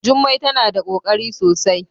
Jummai tana da kokari sosai.